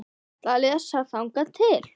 Ég ætla að lesa þangað til.